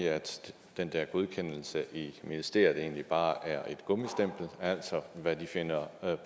at den der godkendelse i ministeriet egentlig bare er et gummistempel altså hvad de finder